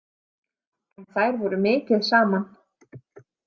En þær voru mikið saman.